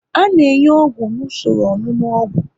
A na enye ọgwụ n'usoro ọṅụnụ ogwu